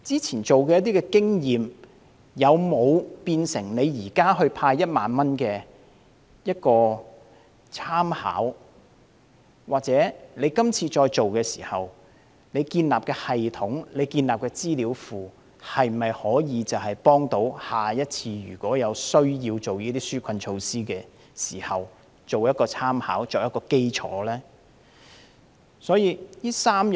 以往的經驗有否成為政府現時派發1萬元的參考？政府今次建立的系統和資料庫，在下次有需要再推出紓困措施時，可否作為參考及基礎呢？